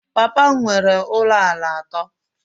Papa m nwere ụlọ ala atọ